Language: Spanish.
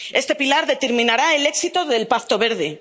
Este pilar determinará el éxito del Pacto Verde.